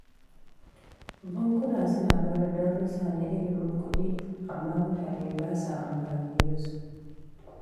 Bankuna suna ba da darussa na ilimin kuɗi, amma mutane ba sa amfani da su.